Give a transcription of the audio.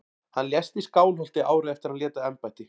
Hann lést í Skálholti árið eftir að hann lét af embætti.